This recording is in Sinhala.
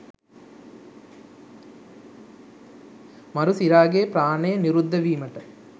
මරු සිරාගේ ප්‍රාණය නිරුද්ධ වීමට